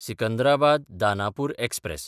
Secunderabad-Danapur express